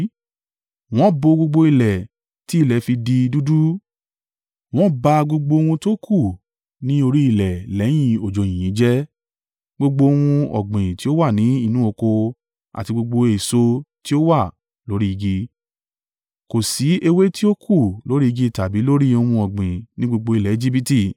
Wọ́n bo gbogbo ilẹ̀ tí ilẹ̀ fi di dúdú. Wọ́n ba gbogbo ohun tókù ní orí ilẹ̀ lẹ́yìn òjò yìnyín jẹ́; gbogbo ohun ọ̀gbìn tí ó wà ní inú oko àti gbogbo èso tí ó wà lórí igi. Kò sí ewé tí ó kù lórí igi tàbí lórí ohun ọ̀gbìn ní gbogbo ilẹ̀ Ejibiti.